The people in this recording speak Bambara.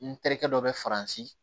N terikɛ dɔ bɛ faransi